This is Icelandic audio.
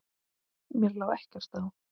Mér lá ekkert á.